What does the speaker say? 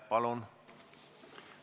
Palun!